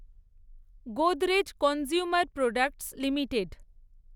Godrej consumer products limited